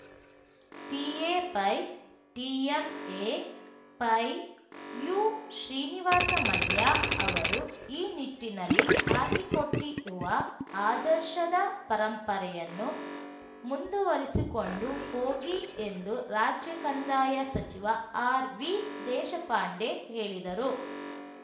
ಟಿಎಪೈ ಟಿಎಂಎಪೈ ಯುಶ್ರೀನಿವಾಸ ಮಲ್ಯ ಅವರು ಈ ನಿಟ್ಟಿನಲ್ಲಿ ಹಾಕಿಕೊಟ್ಟಿರುವ ಆದರ್ಶದ ಪರಂಪರೆಯನ್ನು ಮುಂದುವರಿಸಿಕೊಂಡು ಹೋಗಿ ಎಂದು ರಾಜ್ಯ ಕಂದಾಯ ಸಚಿವ ಆರ್ವಿದೇಶಪಾಂಡೆ ಹೇಳಿದರು